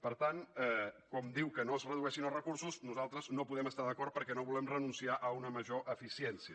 per tant quan diu que no es redueixin els recursos nosaltres no hi podem estar d’acord perquè no volem renunciar a una major eficiència